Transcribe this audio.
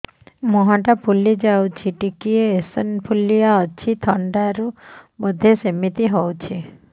ମୁହଁ ଟା ଫୁଲି ଯାଉଛି ଟିକେ ଏଓସିନୋଫିଲିଆ ଅଛି ଥଣ୍ଡା ରୁ ବଧେ ସିମିତି ହଉଚି